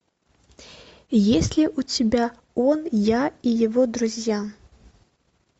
есть ли у тебя он я и его друзья